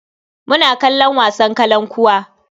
Muna kalon wasan kalankuwa.